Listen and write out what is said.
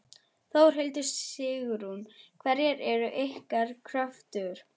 Þórhildur: Sigrún, hverjar eru ykkar kröfur?